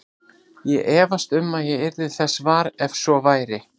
Ég efast um að ég yrði þess var, ef svo væri